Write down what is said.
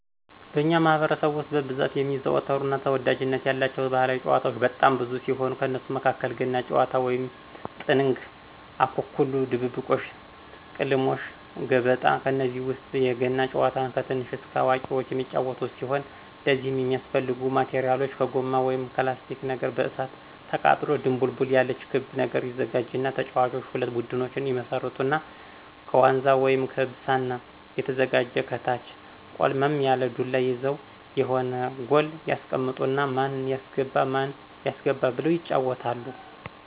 በእኛ ማህበረሰብ ውስጥ በብዛት የሚዘወተሩ እና ተወዳጅነት ያላቸው ባህላዊ ጭዋታዎች በጣም ብዙ ሲሆኑ ከነሱም መካከል ገና ጭዋታ ወይም ጥንግ፣ አኮኩሉ ድብብቆሽ፣ ቅልሞሽ፣ ገበጣ፣ ከነዚህ ውስጥ የገና ጭዋታን ከትንሽ እስከ አዋቁዎች የሚጫዎቱት ሲሆን ለዚህም የሚያስፈልጉ ማቴራሎች ከጎማ ወይም ከላስቲክ ነገር በእሳት አቃጥሎ ድቡልቡል ያለች ክብ ነገር ይዘጋጅና ተጫዋቾች ሁለት ቡድኖች ይመሰርቱና ከዋንዛ ወይም ከብሳና የተዘጋጀ ከታች ቆልመም ያለ ዱላ ይዘው የሆነ ጎል ያስቀምጡና ማን ያስገባ ማን ያስገባ ብለው ይጫዎታሉ።